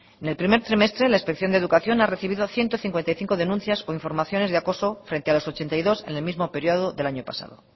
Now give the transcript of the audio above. en el primer trimestre la inspección de educación ha recibido ciento cincuenta y cinco denuncias o informaciones de acoso frente a los ochenta y dos en el mismo periodo del año pasado